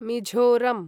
Mizoram